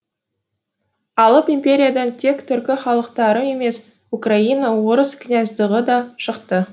алып империядан тек түркі халықтары емес украина орыс княздығы да шықты